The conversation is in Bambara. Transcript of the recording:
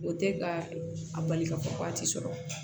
O tɛ ka a bali ka fɔ ko waati sɔrɔ